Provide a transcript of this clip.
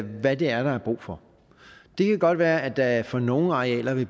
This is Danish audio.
hvad det er der er brug for det kan godt være at der for nogle arealer vil